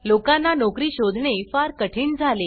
लोकांना नोकरी शोधणे फार कठीण झाले